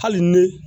Hali ni